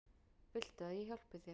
Viltu að ég hjálpi þér?